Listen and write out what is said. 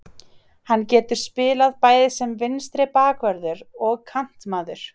Hann getur spilað bæði sem vinstri bakvörður og kantmaður.